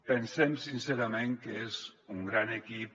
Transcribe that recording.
pensem sincerament que és un gran equip